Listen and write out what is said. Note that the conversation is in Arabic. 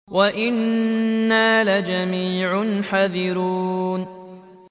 وَإِنَّا لَجَمِيعٌ حَاذِرُونَ